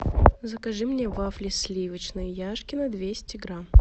закажи мне вафли сливочные яшкино двести грамм